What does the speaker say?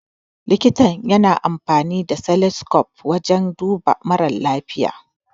Likita ya na amfani da stethoscope wajan duba marasa lafiya.